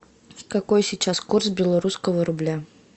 какой сейчас курс белорусского рубля